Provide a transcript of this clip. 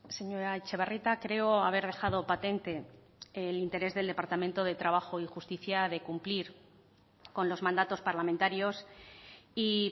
señora etxebarrieta creo haber dejado patente el interés del departamento de trabajo y justicia de cumplir con los mandatos parlamentarios y